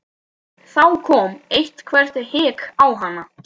Þá kom eitthvert hik á hana.